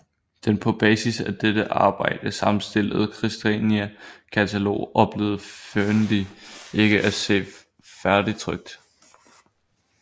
Den på basis af dette arbejde sammenstillede Kristiania katalog oplevede Fearnley ikke at se færdigtrykt